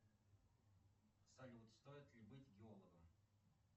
салют стоит ли быть геологом